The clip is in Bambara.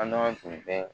An n'an tun bɛ